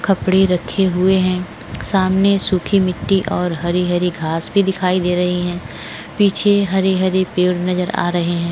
कपडे रखे हुए है सामने सुखी मिट्टी और हरी हरी घास भी दिखायी दे रही है पीछे हरे हरे पेड भी नज़र आ रहा है।